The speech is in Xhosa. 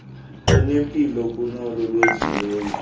lunempilo kunolo lwenziweyo